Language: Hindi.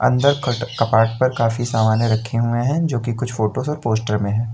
अंदर कट कपाट पर काफी सामानें रखे हुए हैं जो कि कुछ फोटोस और पोस्टर में है।